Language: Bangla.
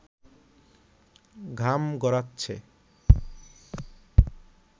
ঘাম গড়াচ্ছে